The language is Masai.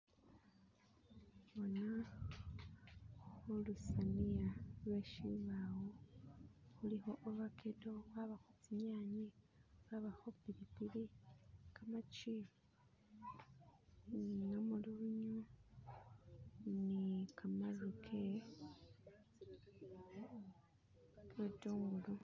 Lutsania lwe shibawo kulikho obakedo, kwabakho tsinyanye, kwabakho pilipili, Khamagi ni namulunyu , ni khamaru ge butungulu.